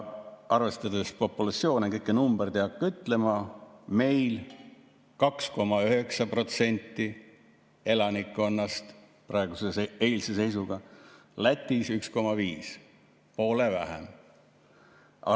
Arvestades populatsioone – kõiki numbreid ei hakka ütlema –, meil 2,9% elanikkonnast eilse seisuga, Lätis 1,5, poole vähem.